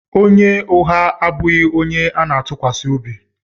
Onye ụgha abụghị onye ana-atụkwasị obi.